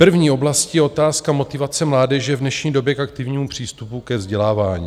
První oblastí je otázka motivace mládeže v dnešní době k aktivnímu přístupu ke vzdělávání.